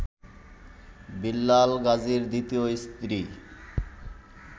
বিল্লাল গাজীর দ্বিতীয় স্ত্রী